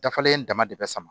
Dafalen dama dama